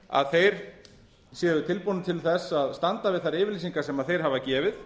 að þeir séu tilbúnir til að standa við þær yfirlýsingar sem þeir hafa gefið